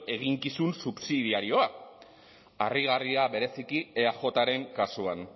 eginkizun subsidiarioa harrigarria bereziki eajren kasuan